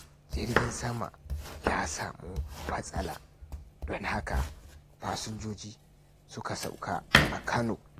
Jirgin Sama ya samu matsala, don haka fasinjoji suka sauka a Kano.